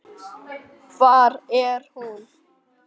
Þorbjörn: Hvar er hún?